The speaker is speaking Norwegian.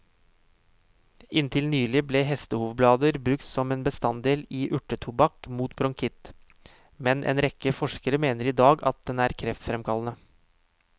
Inntil nylig ble hestehovblader brukt som en bestanddel i urtetobakk mot bronkitt, men en rekke forskere mener i dag at den er kreftfremkallende.